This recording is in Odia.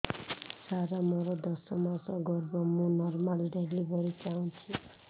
ସାର ମୋର ଦଶ ମାସ ଗର୍ଭ ମୁ ନର୍ମାଲ ଡେଲିଭରୀ ଚାହୁଁଛି